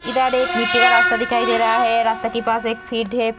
इधर एक मिट्टी का रास्ता दिखाई दे रहा है रास्ता के पास एक फील्ड है ।